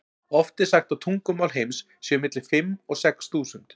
Oft er sagt að tungumál heims séu milli fimm og sex þúsund.